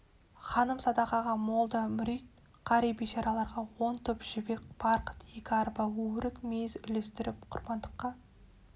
ханым садақаға молда мүрит қари бейшараларға он топ жібек барқыт екі арба өрік мейіз үлестіріп құрбандыққа